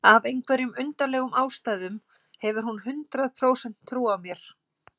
Af einhverjum undarlegum ástæðum hefur hún hundrað prósent trú á mér.